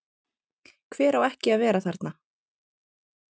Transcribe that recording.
Hver á ekki að vera þarna?